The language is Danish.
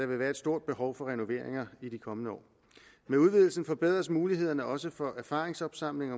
vil være et stort behov for renoveringer i de kommende år med udvidelsen forbedres mulighederne også for erfaringsopsamling